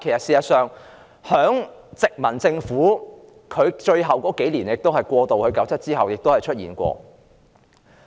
事實上，這在殖民地政府過渡1997年之前的最後數年亦曾經出現。